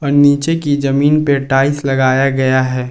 नीचे की जमीन पे टाइल्स लगाया गया है।